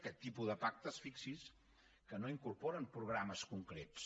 aquest tipus de pactes fixi’s hi que no incorporen programes concrets